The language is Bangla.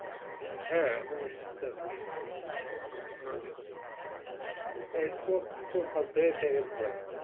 হ্যাঁ এখন সুস্থ আছি এই Smoke টোক বাধ্য হয়ে ছেড়ে দিলাম